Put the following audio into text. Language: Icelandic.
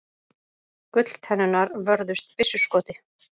Gulltennurnar vörðust byssuskoti